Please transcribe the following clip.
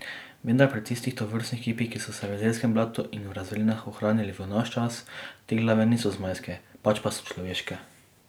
Vendar pri tistih tovrstnih kipih, ki so se v jezerskem blatu in v razvalinah ohranili v naš čas, te glave niso zmajske, pač pa so človeške.